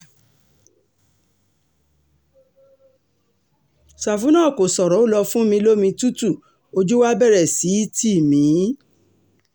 sàfú náà kò ṣòro ó lọ́ọ fún mi lomi um tutù ojú wa bẹ̀rẹ̀ sí í tì mí um